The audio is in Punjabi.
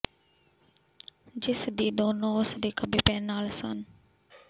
ਜਿਸ ਦੀ ਦੋਨੋ ਉਸ ਦੇ ਖੱਬੇ ਪੈਰ ਨਾਲ ਸਨ